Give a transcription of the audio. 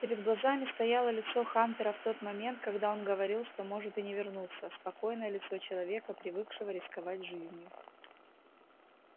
перед глазами стояло лицо хантера в тот момент когда он говорил что может и не вернуться спокойное лицо человека привыкшего рисковать жизнью